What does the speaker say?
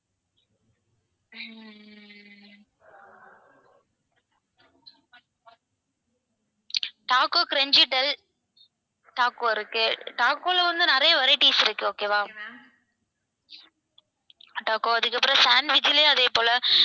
taco crunchy bell taco இருக்கு taco ல வந்து நிறைய varieties இருக்கு okay வா taco அதுக்கப்பறம் sandwich லயும் அதே போல